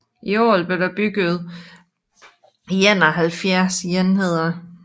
I alt blev der bygget 71 enheder